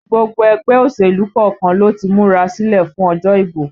Gbogbo ẹgbẹ́ òṣèlú kọ̀ọ̀kan ló ti múra sílẹ̀ fún òjò ìbò